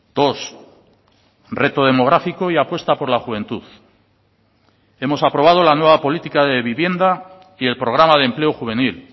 dos reto demográfico y apuesta por la juventud hemos aprobado la nueva política de vivienda y el programa de empleo juvenil